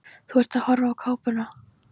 Þú ert að horfa á kápuna.